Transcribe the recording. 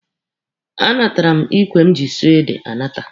A natara m ikwe m ji sụọ ede anata.